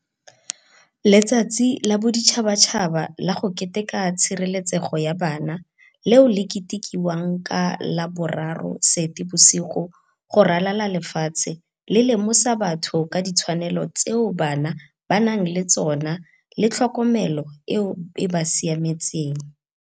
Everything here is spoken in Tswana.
Letsatsi la Boditšhabatšhaba la go Keteka tshireletsego ya Bana, leo le ketekiwang ka la bo 03 Seetebosigo go ralala le lefatshe le lemosa batho ka ditshwanelo tseo bana ba nang le tsona le tlhokomelo eo e ba siametseng.